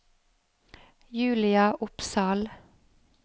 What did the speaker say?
Julia Opsahl